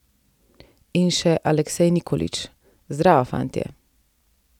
In še Aleksej Nikolić: "Zdravo, fantje.